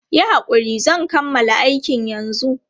Yi hakuri, zan kammala aikin yanzu.